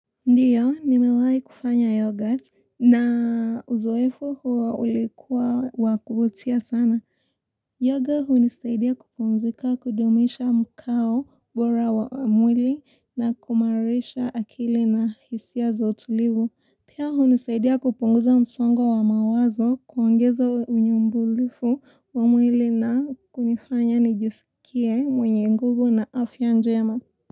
Ndiyo, nimewahi kufanya yogurt na uzoefu huwa ulikuwa wakubutia sana. Yoga hunisaidia kupumzika kudumisha mkao bora wa mwili na kumarisha akili na hisia zotulivu. Pia hunisaidia kupunguza msongo wa mawazo, kuongeza unyumbulifu wa mwili na kunifanya nijisikie mwenye nguvu na afya njema.